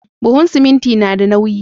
Buhun siminti nada nauyi